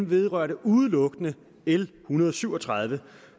vedrørte udelukkende l en hundrede og syv og tredive